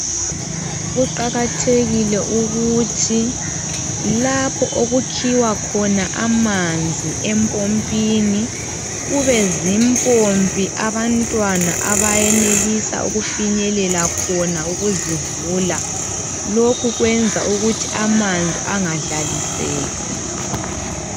Kuqakathekile ukuthi lapho okukhiwa khona amanzi empompini kube zimpompi abantwana abenelisa ukufinyelela khona ukuzivula, lokhu kwenza ukuthi amanzi engadlaliseki.